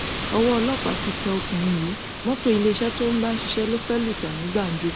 owó ọlọpàá ti tẹ ọkùnrin yìí mọtò iléeṣẹ tó ń bá ṣiṣẹ ló fẹẹ lù ta ní gbàǹjo